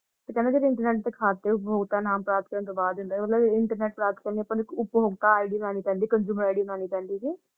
ਤੇ ਕਹਿੰਦੇ internet ਉਪਭੋਗਤਾ ਨਾਮ ਦਾ ਡੁਬਾ ਦਿੰਦਾ ਹੈ ਮਤਲਬ ਇਹ internet ਉਪਭੋਗਤਾ ID ਬਨਾਨੀ ਪੈਂਦੀ consumer id ਬਨਾਨੀ ਪੈਂਦੀ ।